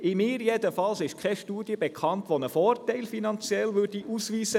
Mir jedenfalls ist keine Studie bekannt, welche nach der Fusion finanzielle Vorteile ausweist.